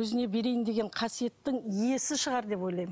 өзіне берейін деген қасиеттің иесі шығар деп ойлаймын